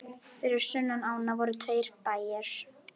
Fyrir sunnan ána voru tveir bæir.